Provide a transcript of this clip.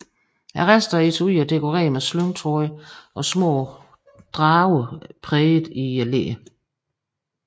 Resten af etuiet er dekoreret med slyngtråder og små drager præget i læderet